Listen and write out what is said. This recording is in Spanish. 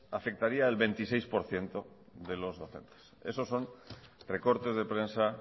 afectaría al veintiséis por ciento de los docentes esos son recortes de prensa